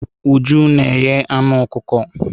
Uju na eghe anụ ọkụkọ.